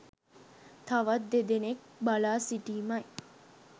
තවත් දෙදෙනෙක් බලා සිටීමයි.